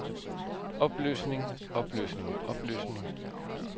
opløsning opløsning opløsning